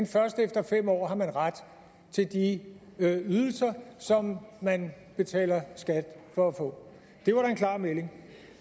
først efter fem år at man har ret til de ydelser som man betaler skat for at få det var da en klar melding